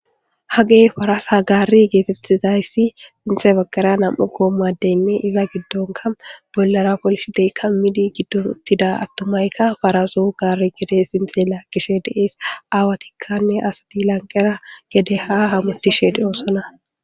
hagey farasha gari geetettizayssi xinxe baggara nam7u goommadeynme iza giddonka bollara polshi deykka midi giddotida attumayka farasu gaari gede sinxela gishe deees aawatikkanne asati lanqera gede haa hamutisheede oosona